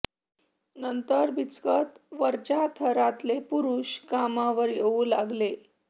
नंतर बिचकत वरच्या थरातले पुरुष कामावर येऊ लागले